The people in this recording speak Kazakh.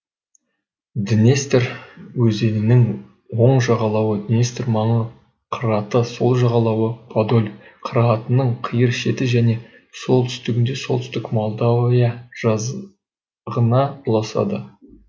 днестр өзенінің оң жағалауы днестр маңы қыраты сол жағалауы подоль қыратының қиыр шеті және солтүстігінде солтүстік молдовия жазығына ұласады